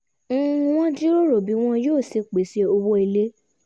wọ́n jíròrò bí wọ́n yóò ṣe pèsè owó ilé